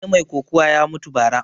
Wani mai kokuwa ya mutu ba ra